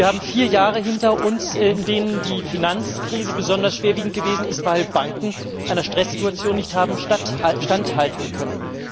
Wir haben vier Jahre hinter uns, in denen die Finanzkrise besonders schwerwiegend gewesen ist, weil Banken einer Stresssituation nicht haben standhalten können.